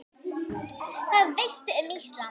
Hvað veistu um Ísland?